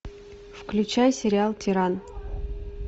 включай сериал тиран